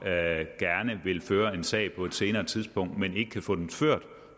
gerne vil føre en sag på et senere tidspunkt men ikke kan få den ført